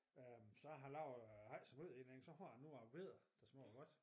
Øh så jeg har lavet har ikke så meget inde i den så har jeg nogen gange vedder der smager godt